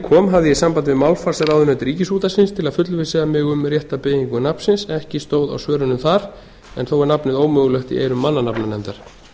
kom hafði ég samband við málfarsráðunaut ríkisútvarpsins til að fullvissa mig um rétta beygingu nafnsins ekki stóð á svörunum þar en þó er nafnið ómögulegt í eyrum mannanafnanefndar